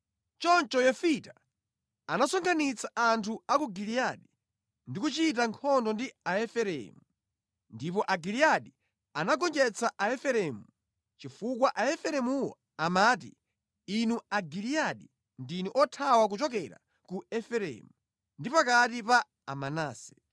Choncho Yefita anasonkhanitsa anthu a ku Giliyadi ndi kuchita nkhondo ndi Aefereimu. Ndipo Agiliyadi anagonjetsa Aefereimu chifukwa Aefereimuwo amati, “Inu a Giliyadi ndinu othawa kuchokera ku Efereimu ndi pakati pa Amanase.”